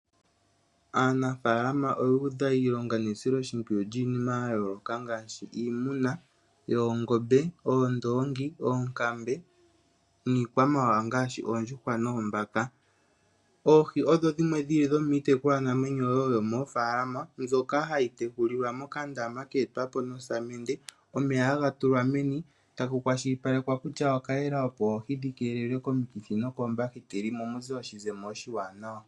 Aanafalama oyu udha iilonga nesiloshipwiyu lyiniima ya yoloka ngashi iimuna yoongombe, oondongi, oonkambe nikwa mawawa ngashi oondjuhwa noombaka. Oohi odho dhimwe dhili dhomiitekulwa naamwenyo wo yomofalama mbyoka hadhi tekulilwa mokandama ketwapo nosamende, omeya haga tulwa meni etaku kwashilipalekwa kutya oka yela opo oohi dhikelelwe koomikithi nokombahiteli mo omuze oshizemo oshiwanawa.